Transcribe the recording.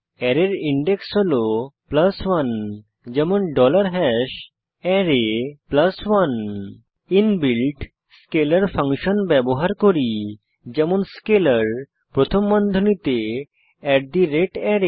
অ্যারের ইনডেক্স হল 1 যেমন array 1 ইনবিল্ট স্কেলার ফাংশন ব্যবহার করি যেমন স্কেলার প্রথম বন্ধনীতে array বন্ধনী বন্ধ করুন